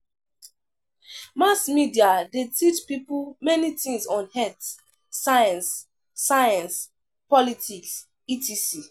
Mass media de teach pipo many things on health, science, science, politics etc